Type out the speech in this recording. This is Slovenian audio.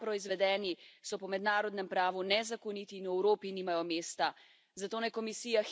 Izdelki, ki so tam proizvedeni, so po mednarodnem pravu nezakoniti in v Evropi nimajo mesta.